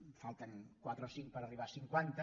en falten quatre o cinc per arribar a cinquanta